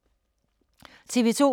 TV 2